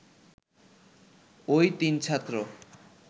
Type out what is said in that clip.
ওই তিন ছাত্র